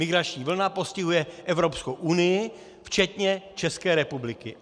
Migrační vlna postihuje Evropskou unii včetně České republiky.